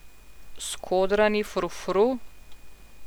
Skodrani frufru?